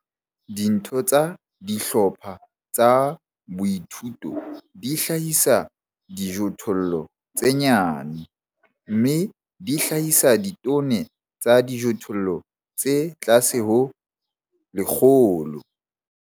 Ditho tsa dihlopha tsa boithuto di hlahisa dijothollo tse nyane, mme di hlahisa ditone tsa dijothollo tse tlase ho tse 100.